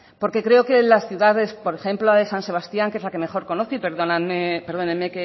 porque creo que en la ciudades por ejemplo en san sebastián que es la que mejor conoce y perdónenme